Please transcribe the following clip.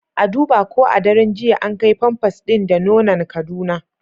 A duba ko a daren jiya an kai pampers din da nonan kaduna